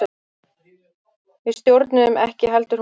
Við stjórnuðum ekki heldur hún.